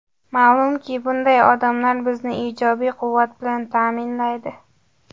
Ma’lumki, bunday odamlar bizni ijobiy quvvat bilan ta’minlaydi.